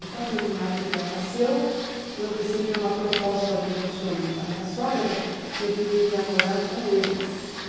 E quando minha filha nasceu, eu recebi uma proposta do meu sogro e da minha sogra que eu deveria morar com eles.